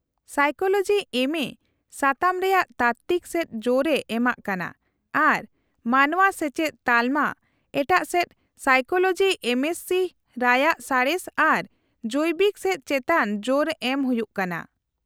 -Psychology ᱮᱢᱹᱮ ᱥᱟᱛᱟᱢ ᱨᱮᱭᱟᱜ ᱛᱟᱛᱛᱤᱠ ᱥᱮᱡ ᱡᱳᱨ ᱮ ᱮᱢᱟᱜ ᱠᱟᱱᱟ ᱚᱱᱟ ᱢᱟᱱᱶᱟ ᱥᱮᱪᱮᱫ ᱼᱛᱟᱞᱢᱟ, ᱮᱴᱟᱜ ᱥᱮᱪ ᱥᱟᱭᱠᱳᱞᱚᱡᱤ ᱮᱢᱹᱮᱥᱥᱤ ᱨᱟᱭᱟᱜ ᱥᱟᱬᱮᱥ ᱟᱨ ᱡᱚᱭᱵᱤᱠ ᱥᱮᱪ ᱪᱮᱛᱟᱱ ᱡᱳᱨ ᱮᱢ ᱦᱩᱭᱩᱜ ᱠᱟᱱᱟ ᱾